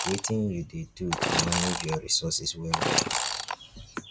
wetin you dey do to manage your resources well well?